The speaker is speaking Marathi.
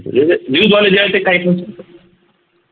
हे जे news वाले आहे ते काही पण सांगतात